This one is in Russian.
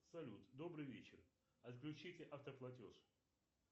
салют добрый вечер отключить автоплатеж